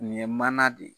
Nin ye mana de ye